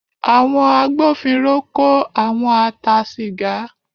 Àwọn agbófinró kó àwọn a ta sìgá.